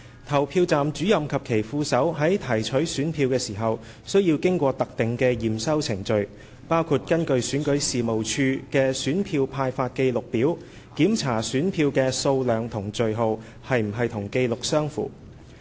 投票站主任及其副手在提取選票時須經過特定的檢收程序，包括根據選舉事務處的選票派發記錄表，檢查選票的數量和序號是否與紀錄相符。